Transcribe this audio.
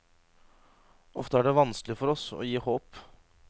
Ofte er det vanskelig for oss å gi håp.